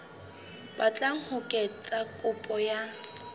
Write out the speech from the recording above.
batlang ho etsa kopo ya